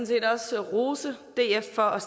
set også rose df for at